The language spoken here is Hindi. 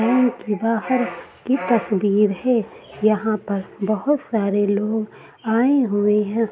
बैंक के बाहर की तस्वीर है। यहाँ पर बोहोत सारे लोग आयें हुए हैं।